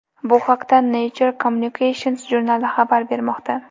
Bu haqda Nature Communications jurnali xabar bermoqda .